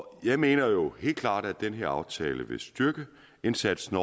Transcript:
jeg mener helt klart at den her aftale vil styrke indsatsen